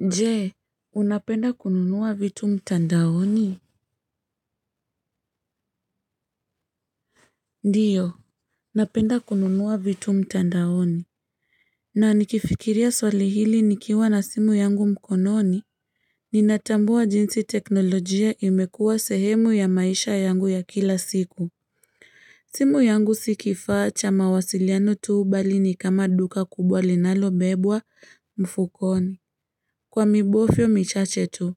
Je, unapenda kununua vitu mtandaoni? Ndio. Napenda kununua vitu mtandaoni. Na nikifikiria swali hili nikiwa na simu yangu mkononi. Ninatambua jinsi teknolojia imekuwa sehemu ya maisha yangu ya kila siku. Simu yangu si kifaa cha mawasiliano tu bali ni kama duka kubwa linalo bebwa mfukoni. Kwa mibofyo michache tu,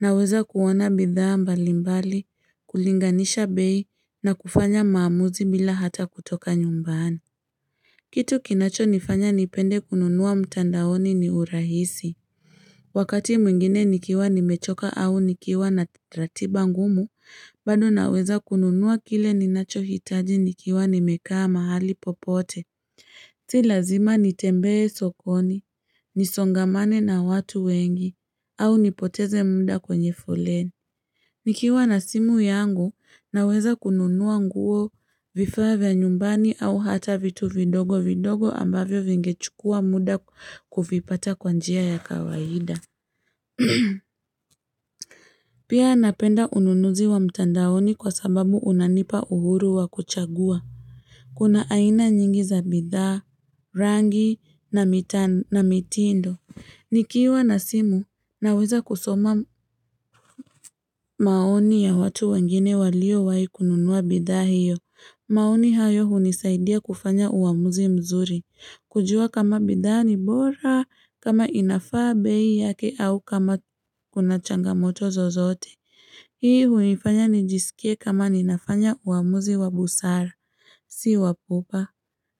naweza kuwana bidhaa mbalimbali, kulinganisha bei na kufanya maamuzi bila hata kutoka nyumbani. Kitu kinacho nifanya nipende kununua mtandaoni ni urahisi. Wakati mwingine nikiwa nimechoka au nikiwa na ratiba ngumu, bado naweza kununua kile ninacho hitaji nikiwa nimekaa mahali popote. Si lazima nitembee sokoni, nisongamane na watu wengi, au nipoteze munda kwenye foleni. Nikiwa na simu yangu, naweza kununuwa nguo, vifaa vya nyumbani au hata vitu vidogo vidogo ambavyo vingechukua muda kuvipata kwa njia ya kawaida. Pia napenda ununuzi wa mtandaoni kwa sababu unanipa uhuru wa kuchagua. Kuna aina nyingi za bidhaa, rangi na mitindo. Nikiwa na simu, naweza kusoma maoni ya watu wengine waliowai kununua bidhaa hiyo. Maoni hayo hunisaidia kufanya uamuzi mzuri. Kujua kama bidhaa ni bora kama inafaa bei yake au kama kuna changamoto zozote. Hii hunifanya nijisikie kama ninafanya uamuzi wa busara, si wapupa.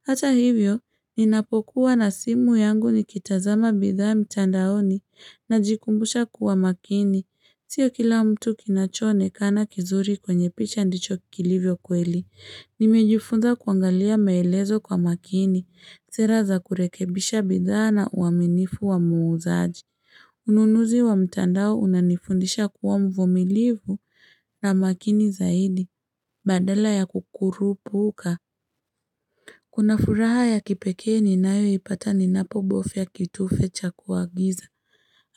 Hata hivyo, ninapokuwa na simu yangu ni kitazama bidhaa mtandaoni na jikumbusha kuwa makini. Sio kila mtu kinacho onekana kizuri kwenye picha ndicho kilivyo kweli. Nimejufunza kuangalia maelezo kwa makini. Sera za kurekebisha bidhaa na uaminifu wa muuzaji. Ununuzi wa mtandao unanifundisha kuwa mvumilivu na makini zaidi. Badala ya kukurupuka. Kuna furaha ya kipeke ni nayo ipata ni napobofya kitufe cha kuagiza.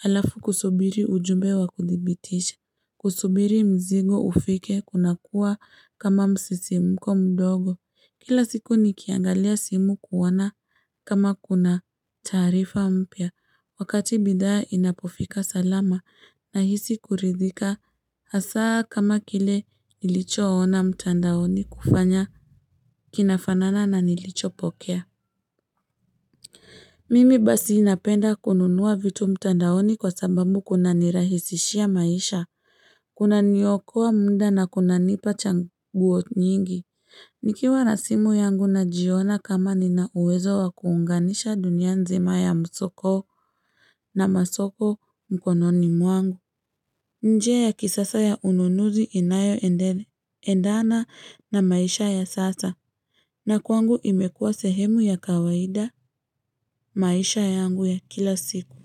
Alafu kusubiri ujumbe wa kuthibitisha. Kusubiri mzigo ufike kuna kuwa kama msisimko mdogo. Kila siku ni kiangalia simu kuona kama kuna taarifa mpya. Wakati bidhaa inapofika salama na hisi kuridhika. Hasaa kama kile nilicho ona mtandaoni kufanya kinafanana na nilicho pokea. Mimi basi napenda kununua vitu mtandaoni kwa sababu kuna nirahisishia maisha. Kuna niokoa muda na kuna nipa chaguo nyingi. Nikiwa na simu yangu na jiona kama nina uwezo wa kuunganisha dunia nzima ya msoko na masoko mkononi mwangu. Njia ya kisasa ya ununuzi inayoendele endana na maisha ya sasa na kwangu imekua sehemu ya kawaida maisha yangu ya kila siku.